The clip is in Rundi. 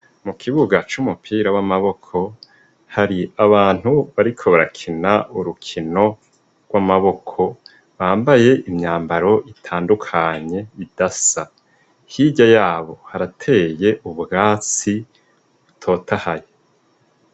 Mukibuga c'umupira w'amaboko hari abantu b ariko barakina urukino gw'amaboko bambaye imyambaro itandukanye idasa, hirya yabo harateye ubwatsi butotahaye.